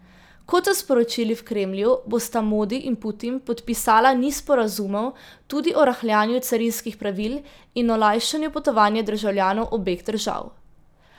Kot so sporočili v Kremlju, bosta Modi in Putin podpisala niz sporazumov, tudi o rahljanju carinskih pravil in olajšanju potovanja državljanov obeh držav.